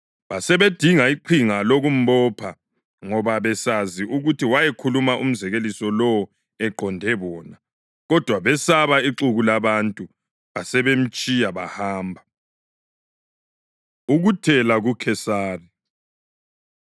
Basebedinga iqinga lokumbopha ngoba babesazi ukuthi wayekhulume umzekeliso lowo eqonde bona. Kodwa besaba ixuku labantu; basebemtshiya bahamba. Ukuthela KuKhesari